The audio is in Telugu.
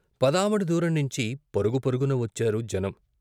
పదావడ దూరంనించి పరుగు పరుగున వచ్చారు జనం.